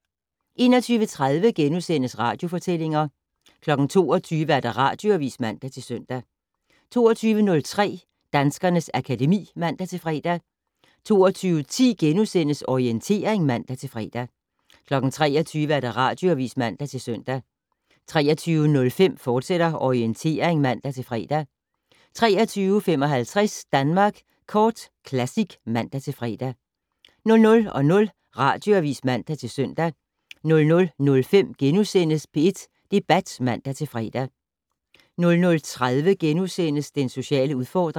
21:30: Radiofortællinger * 22:00: Radioavis (man-søn) 22:03: Danskernes akademi (man-fre) 22:10: Orientering *(man-fre) 23:00: Radioavis (man-søn) 23:05: Orientering, fortsat (man-fre) 23:55: Danmark Kort Classic (man-fre) 00:00: Radioavis (man-søn) 00:05: P1 Debat *(man-fre) 00:30: Den sociale udfordring *